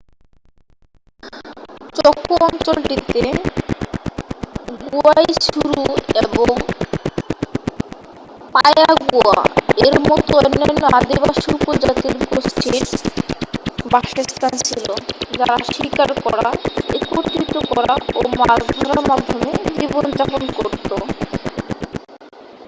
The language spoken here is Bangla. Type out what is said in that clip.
চকো অঞ্চলটিতে guaycurú এবং payaguá-এর মতো অন্যান্য আদিবাসী উপজাতির গোষ্ঠীর বাসস্থান ছিল যারা শিকার করা একত্রিত করা ও মাছ ধরার মাধ্যমে জীবনযাপন করত।